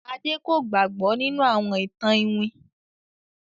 Ade kò gbàgbó nínú àwọn ìtàn iwin.